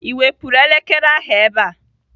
Ị wepụrụ elekere ahụ ebe a?